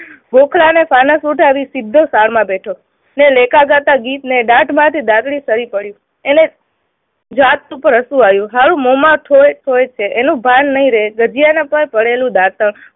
ગોખલાને ફાનસ ઉઠાવી સીધો સાઢમાં બેઠો ને લેખાજાતા ગીતને દાઢમાંથી ડાગરી સરી પડી. એને જાત પર હસું આવ્યું. હારું મોંમાં કોઈ કોઈ હોય છે એનું ભાન નહી રહે જગ્યામાં કોઈએ કરેલું દાતણ